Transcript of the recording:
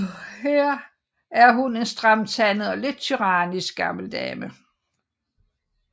Her er hun en stramtandet og lidt tyrannisk gammel dame